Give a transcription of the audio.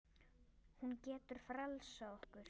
Hún getur frelsað okkur.